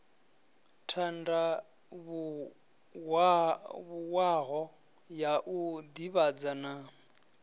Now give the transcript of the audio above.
tandavhuwaho ya u divhadza na